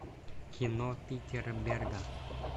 кино питера берга